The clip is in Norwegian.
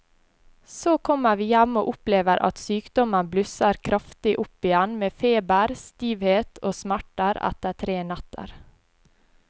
Så kommer vi hjem og opplever at sykdommen blusser kraftig opp igjen med feber, stivhet og smerter etter tre netter.